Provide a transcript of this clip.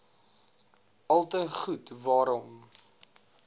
alte goed waarom